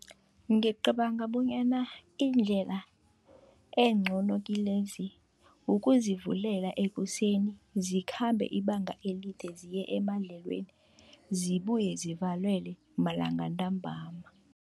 Ngicabanga bonyana indlela encono kilezi, ukuzivulela ekuseni zikhambe ibanga elide ziye emadlelweni, zibuye zivalelwe malanga ntambama.